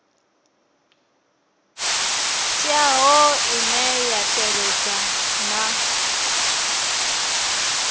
teaho ine ya tevhedza na